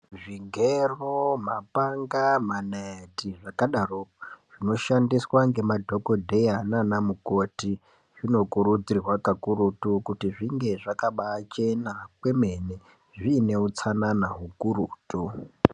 Zvigero, mapanga ,manaiti zvakadaroko zvinoshandiswa ngemadhokodheya naana mukoti zvino kurudzirwa kakurutu kuti zvinge zvakabavhena kwemene zviine utsanana ukututu